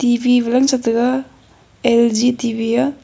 T_V valan setega L_G T_V a.